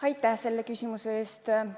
Aitäh selle küsimuse eest!